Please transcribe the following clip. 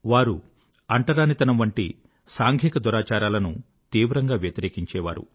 వారు అంటరానితనం వంటి సాంఘిక దురాచారాలను తీవ్రంగా వ్యతిరేకించారు